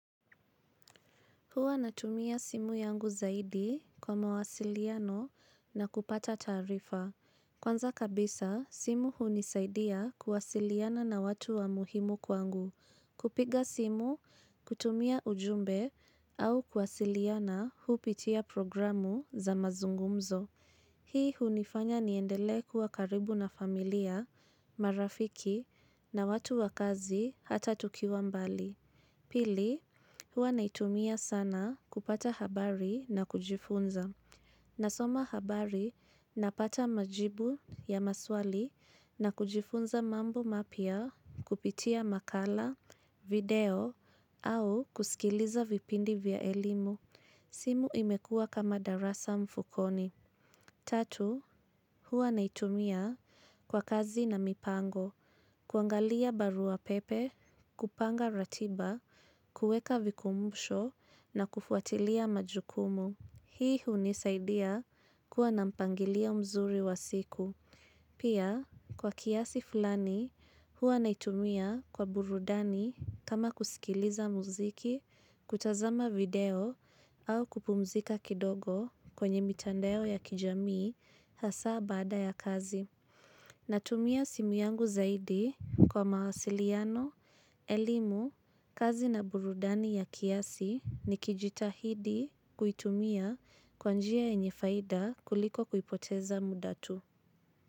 Huwa natumia simu yangu zaidi kwa mawasiliano na kupata taarifa. Kwanza kabisa, simu hunisaidia kuwasiliana na watu wa muhimu kwangu. Kupiga simu, kutumia ujumbe au kuwasiliana hupitia programu za mazungumzo. Hii hunifanya niendele kuwa karibu na familia, marafiki na watu wa kazi hata tukiwa mbali. Pili, huwa naitumia sana kupata habari na kujifunza. Nasoma habari napata majibu ya maswali na kujifunza mambo mapya kupitia makala, video au kusikiliza vipindi vya elimu. Simu imekua kama darasa mfukoni. Tatu, huwa naitumia kwa kazi na mipango. Kuangalia barua pepe, kupanga ratiba, kueka vikumbusho na kufuatilia majukumu. Hii hunisaidia kuwa na mpangilia mzuri wa siku. Pia kwa kiasi fulani huwa naitumia kwa burudani kama kusikiliza muziki, kutazama video au kupumzika kidogo kwenye mitandao ya kijamii hasaa baada ya kazi. Natumia simu yangu zaidi kwa mawasiliano, elimu, kazi na burudani ya kiasi ni kijitahidi kuitumia kwanjia yenye faida kuliko kuipoteza muda tu.